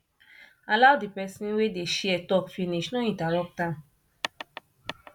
allow di person wey dey share talk finish no interrupt am